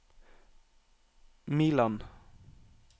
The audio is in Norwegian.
Miland